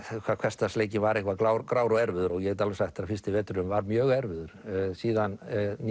hvað hversdagsleikinn var grár grár og erfiður ég get alveg sagt þér að fyrsti veturinn var mjög erfiður síðan